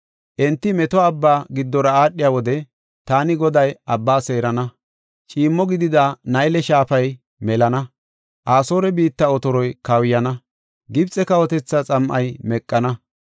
Enti meto abba giddora aadhiya wode taani Goday abba seerana. Ciimmo gidida Nayle shaafay melana. Asoore biitta otoroy kawuyana; Gibxe kawotetha xam7ay meqana.